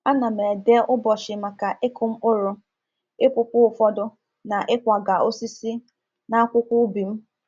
A na m ede ụbọchị maka ịkụ mkpụrụ, ịpụpụ ụfọdụ, na ịkwaga osisi n’akwụkwọ ubi m.